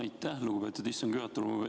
Aitäh, lugupeetud istungi juhataja!